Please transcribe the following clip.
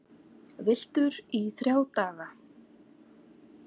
Villtur í þrjá daga